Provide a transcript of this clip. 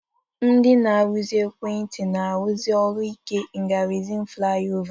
Ndị na-arụzi ekwentị na-arụsị ọrụ ike n'gárịzịn flaịọvá.